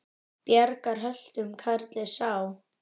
Bjargar höltum karli sá.